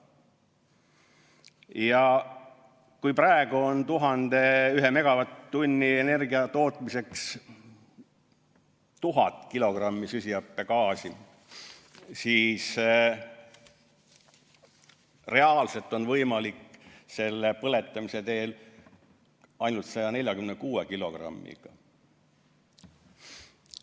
Ja kui praegu tekib 1 megavatt-tunni energia tootmise käigus 1000 kilogrammi süsihappegaasi, siis reaalselt on võimalik järelpüüdmist kasutades vähendada see kogus ainult 146 kilogrammini.